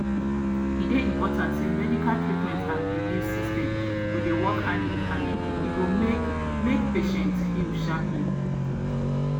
e dey important say medical treatment and belief systems go dey work hand in hand e go make make patient heal sharply.